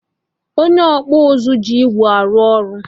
Onye ọkpụ nzụ ji igwe arụ ọrụ